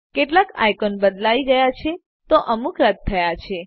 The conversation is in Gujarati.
કેટલાક આઇકોન બદલાયી ગયા છે તો અમુક રદ થયા છે